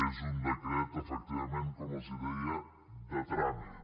és un decret efectivament com els deia de tràmit